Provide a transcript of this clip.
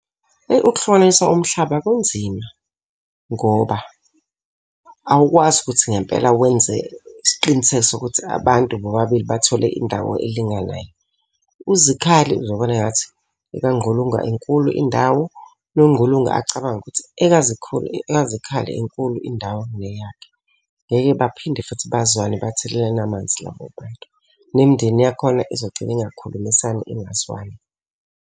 Eyi ukuhlukanisa umhlaba kunzima. Ngoba awukwazi ukuthi ngempela wenze isiqiniseko sokuthi abantu bobabili bathole indawo elinganayo. UZikhali uzobona engathi ekaNgqulunga inkulu indawo, Nongqulunga acabange ukuthi ekaZikhali inkulu, indawo kuneyakhe. Ngeke baphinde futhi bazwane bathelelane amanzi labo bantu. Nemindeni yakhona izogcina ingakhulumisani ingazwani.